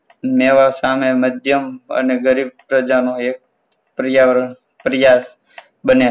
મેવા સાથે મધ્યમ અને ગરીબ પ્રજાનો એ પર્યાવરણ પર્યા બને.